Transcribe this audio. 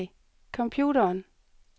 computeren